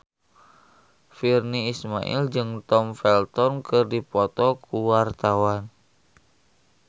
Virnie Ismail jeung Tom Felton keur dipoto ku wartawan